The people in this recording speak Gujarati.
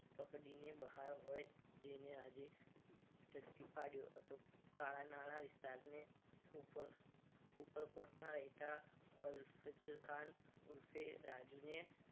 પકડીને બહાર હોય જેને આજે ઝડપી પાડ્યો હતો કાણા નાણા વિસ્તાર ને ઉપર ઉપર કોટ ના રહેતા અલ્ફઝ ખાન ઉર્ફે રાજુને